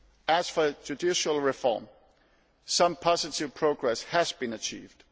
As for judicial reform, some positive progress has been achieved.